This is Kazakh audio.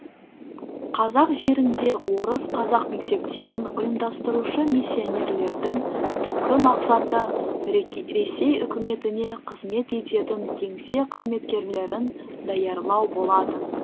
қазақ жерінде орыс қазақ мектептерін ұйымдастырушы миссионерлердің түпкі мақсаты ресей үкіметіне қызмет ететін кеңсе қызметкерлерін даярлау болатын